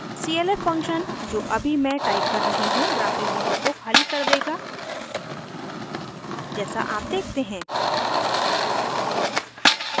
clf function जो अभी मैं टाइप कर रही हूँ ग्राफ़िक विंडो को खाली कर देगा जैसा आप देखते हैं